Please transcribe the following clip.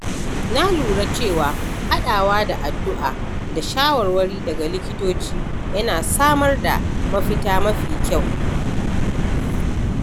Na lura cewa haɗawa da addu’a da shawarwari daga likitoci yana samar da mafita mafi kyau.